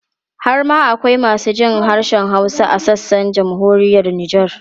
Har ma akwai masu jin harshen Hausa a sassan Jamhuriyar Nijar.